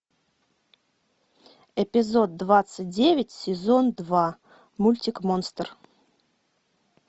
эпизод двадцать девять сезон два мультик монстр